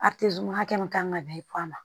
hakɛ min kan ka bɛn ma